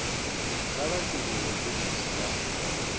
kha vha shulule bogisi la